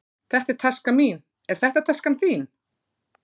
Þetta er taskan mín. Er þetta taskan þín?